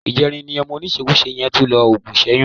Ìjẹrin ni ọmọ oníṣekúṣe yẹn tún lo òògùn ìṣẹ́yún